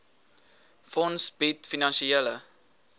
fonds bied finansiële